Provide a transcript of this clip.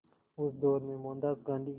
उस दौर में मोहनदास गांधी